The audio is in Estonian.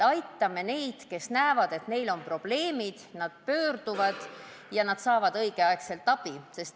Aitame neid, kes näevad, et neil on probleemid, nad pöörduvad arsti poole ja saavad õigel ajal abi.